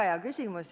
Väga hea küsimus.